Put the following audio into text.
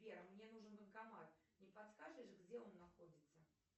сбер мне нужен банкомат не подскажешь где он находится